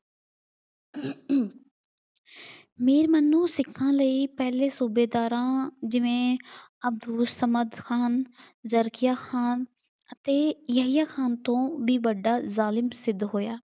ਮੀਰ ਮੈਨੂੰ ਸਿੱਖਾਂ ਲਈ ਪਹਿਲੇ ਸੂਬੇਦਾਰਾਂ ਜਿਵੇਂ ਸਮਧ ਖਾਨ, ਜਰਕੀਆਂ ਖਾਨ ਅਤੇ ਯਹੀਆਂ ਖਾਨ ਤੋਂ ਵੀ ਵੱਡਾ ਜ਼ਾਲਿਮ ਸਿੱਧ ਹੋਇਆ।